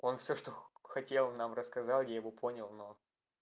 он всё что хотел нам рассказал я его понял но